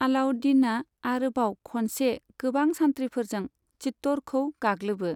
अलाउद्दीनआ आरोबाव खनसे गोबां सान्थ्रिफोरजों चित्तौड़खौ गाग्लोबो।